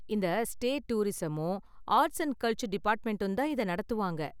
இந்த ஸ்டேட் டூரிஸமும் arts and culture டிபார்ட்மெண்டும் தான் இதை நடத்துவாங்க.